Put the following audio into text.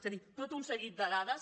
és a dir tot un seguit de dades